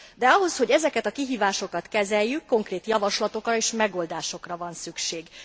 De ahhoz, hogy ezeket a kihívásokat kezeljük, konkrét javaslatokra és megoldásokra van szükség.